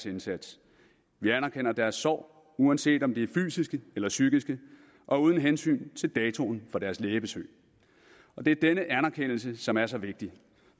indsats vi anerkender deres sår uanset om de er fysiske eller psykiske og uden hensyn til datoen for deres lægebesøg det er denne anerkendelse som er så vigtig